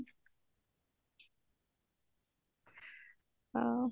ହଉ